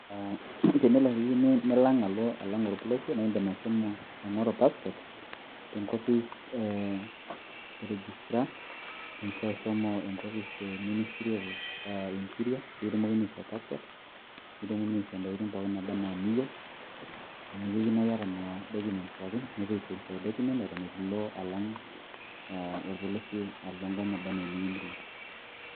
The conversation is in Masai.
tenelo niyieu nilo alang' orpolosie naa idim ashomo aing'oru passport te nkopis e registrar ,idim sii ashomo enkopis e ]ministry of interior pee kitumokini aishoo passport ,nikitumokini aishoo intokitin pookin naaba anaa iniyieu, amu keyieu naa iyata nena documents pookin, nepuo ai verify documents eton eitu ilo alang' orpolosie, alo enkop naba anaa eniyieu nilo.